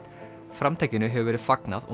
framtakinu hefur verið fagnað og